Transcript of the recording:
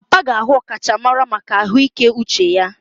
Papa ga-ahụ ọkachamara maka ahụike uche ya.